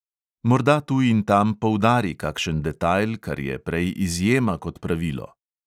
Morda tu in tam poudari kakšen detajl, kar je prej izjema kot pravilo.